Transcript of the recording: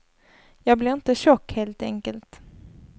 Jag blir inte tjock, helt enkelt.